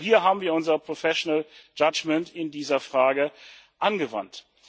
Auch hier haben wir unser professional judgement in dieser Frage angewandt.